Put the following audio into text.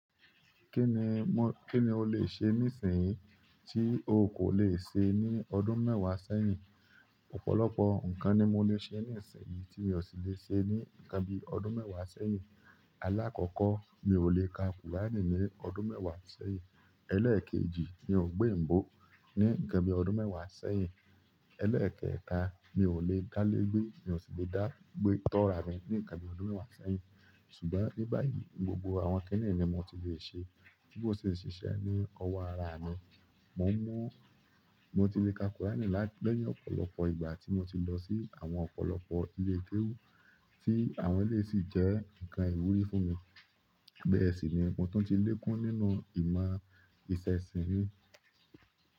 Kí ni, kí ni o lè ṣe nísinsìnyí tí o kò le ṣe ní ọdún mẹ́wàá sẹ́yìn? Ọ̀pọ̀lọpọ̀ n kan ni mo lè ṣe ní ìsinyìí tí mi ò sí lè ṣe ní nkan bíi ọdún mẹ́wàá sẹ́yìn. Alákọ̀kọ́, mi ò lè ka kùránì ní ọdún mẹ́wàá sẹ́yìn. Ẹlẹkeeji mi o gbọ oyinbo ni inkan bi ọdún mẹwa sẹ́yìn ẹ́lẹ́ẹ̀kẹta, mi ò lè dá lé gbé, mi ò sì lè dá gbé, tọ́ra mi ní nkan bíi ọdún mẹ́wàá sẹ́yìn. Ṣùgbọ́n ní báyìí, gbogbo àwọn kínní ni mo ti lè ṣe, tí mo sì n ṣiṣẹ́ ní ọwọ́ ara mi. Mọ̀ n mú, mo ti lè ka kùránì láì, ní ọ̀pọ̀lọpọ̀ ìgbà tí mo ti lọ sí àwọn ọ̀pọ̀lọpọ̀ ilé kéwú tí àwọn eléyi sì jẹ́ ǹkan ìwúrí fún mi. Bẹ́ẹ̀ sì ni mo ti tun tí lekun nínú ìmọ̀ ìṣẹ̀sìn mi.